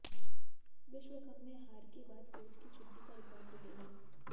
विश्वकप में हार के बाद कोच की छुट्टी का रिकॉर्ड टूटेगा